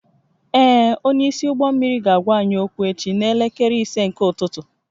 Ee, onyeisi ụgbọ mmiri ga-agwa anyị okwu echi n'elekere ise nke ụtụtụ